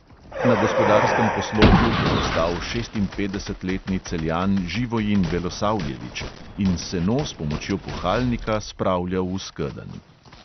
Na gospodarskem poslopju je ostal šestinpetdesetletni celjan živojin belosavljević in seno s pomočjo puhalnika spravljal v skedenj.